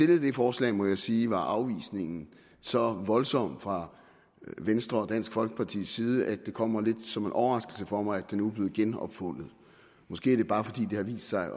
det forslag må jeg sige var afvisningen så voldsom fra venstre og dansk folkepartis side at det kommer lidt som en overraskelse for mig at det nu er blevet genopfundet måske er det bare fordi det har vist sig